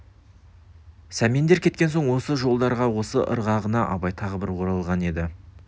сәмендер кеткен соң осы жолдарға осы ырғағына абай тағы бір оралған еді